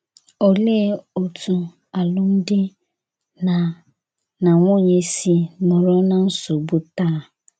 Olee otú alụmdi na na nwunye si nọrọ ná nsogbu taa?